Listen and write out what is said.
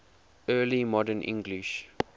early modern english